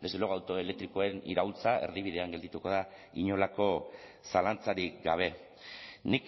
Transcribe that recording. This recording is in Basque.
desde luego auto elektrikoen iraultza erdibidean geldituko da inolako zalantzarik gabe nik